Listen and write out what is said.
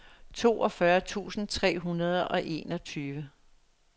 toogfyrre tusind tre hundrede og enogtyve